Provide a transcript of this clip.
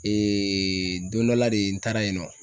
don dɔ la de n taara yen nɔ